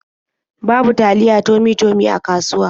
Babu taliya Tummy-Tummy a kasuwa.